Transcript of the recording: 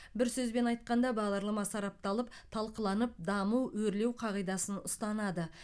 бір сөзбен айтқанда бағдарлама сарапталып талқыланып даму өрлеу қағидасын ұстанады